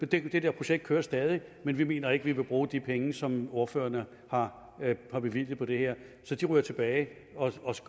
det der projekt kører stadig men vi mener ikke at vi vil bruge de penge som ordførerne har bevilget på det her så de ryger tilbage